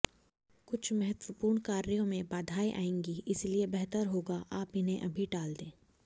कुछ महत्वपूर्ण कार्यों में बाधाएं आएंगी इसलिए बेहतर होगा आप इन्हें अभी टाल दें